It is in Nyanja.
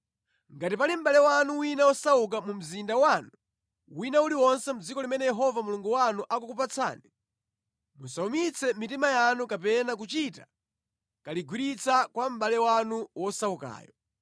Ngati pali mʼbale wanu wina wosauka mu mzinda wanu wina uliwonse mʼdziko limene Yehova Mulungu wanu akukupatsani, musawumitse mitima yanu kapena kuchita kaligwiritsa kwa mʼbale wanu wosaukayo.